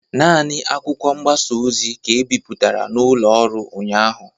Nani akwụkwọ mgbasa ozi ka e bipụtara n'ụlọ ọrụ ụnyaahụ